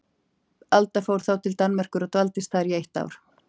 Alda fór þá til Danmerkur og dvaldist þar í eitt ár.